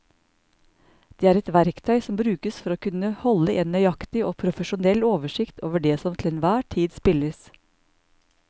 Det er et verktøy som brukes for å kunne holde en nøyaktig og profesjonell oversikt over det som til enhver tid spilles.